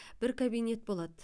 бір кабинет болады